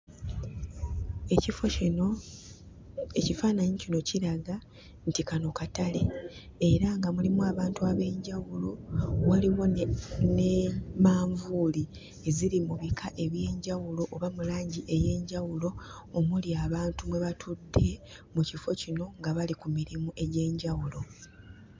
Ekifo kino, ekifaananyi kino kiraga nti kano katale era nga mulimu abantu ab'enjawulo. Waliwo ne ne manvuuli eziri mu bika eby'enjawulo oba mu langi ey'enjawulo omuli abantu mwe batudde mu kifo kino nga bali ku mirimu egy'enjawulo.